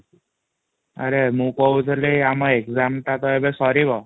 ଆରେ ମୁଁ କହୁଥିଲି ଆମ exam ଟା ତ ଏବେ ସରିବ |